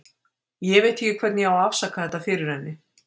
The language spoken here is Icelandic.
Ég veit ekki hvernig ég á að afsaka þetta fyrir henni.